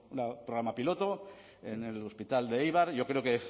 un programa piloto en el hospital de eibar yo creo que